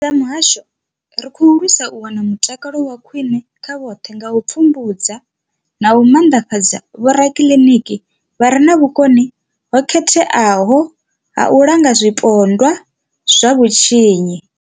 Sa muhasho, ri khou lwisa u wana mutakalo wa khwiṋe kha vhoṱhe nga u pfumbudza na u maanḓafhadza vhorakiliniki vha re na vhukoni ho khetheaho u langa zwipondwa zwa vhutshinyi.